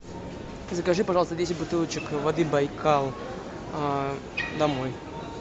закажи пожалуйста десять бутылочек воды байкал домой